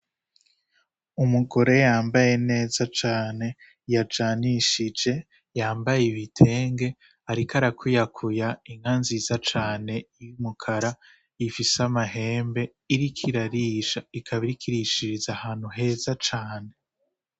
Umugore yambaye neza cane yajanishije yambaye ibitenge ariko ara kwiyakuya inka nziza cane ifise amahembe ikaba iriko irarisha ikaba iriko irishiza ahantu heza cane.